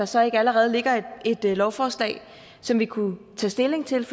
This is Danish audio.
så ikke allerede ligger et lovforslag som vi kunne tage stilling til